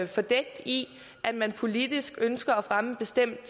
fordækt i at man politisk ønsker at fremme en bestemt